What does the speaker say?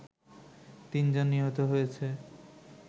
তিনজন নিহত হয়েছে